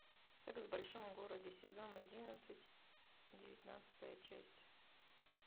секс в большом городе сезон одиннадцать девятнадцатая часть